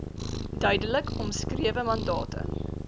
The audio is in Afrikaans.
duidelik omskrewe mandate